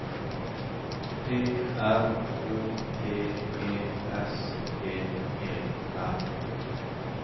P R O T E S T E R